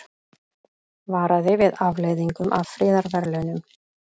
Varaði við afleiðingum af friðarverðlaunum